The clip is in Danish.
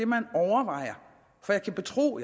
man overvejer for jeg kan betro